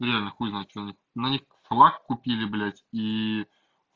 нет но хуй знает что они но они салат купили блядь и